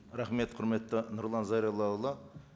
рахмет құрметті нұрлан зайроллаұлы